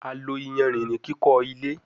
A lo iyanrin ni kiko ile